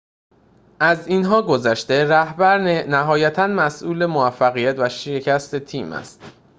از اینها گذشته رهبر نهایتاً مسئول موفقیت و شکست تیم است